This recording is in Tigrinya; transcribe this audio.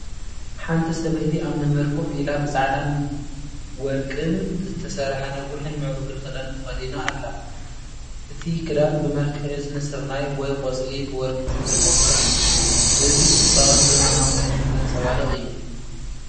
ሓንቲ ሰበይቲ ኣብ መንበር ኮፍ ኢላ ብጻዕዳን ወርቅን ዝተሰርሐ ነዊሕን ምዕሩግን ክዳን ተኸዲና ኣላ። እቲ ክዳን ብመልክዕ እዝኒ ስርናይ ወይ ቆጽሊ ብወርቂ ዝተጠልፈ እዩ። እዚ ጽባቐን ዘመናዊነትን ዘንጸባርቕ እዩ።